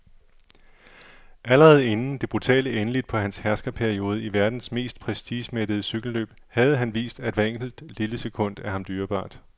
Allerede inden det brutale endeligt på hans herskerperiode i verdens mest prestigemættede cykelløb havde han vist, at hvert enkelt, lille sekund er ham dyrebart.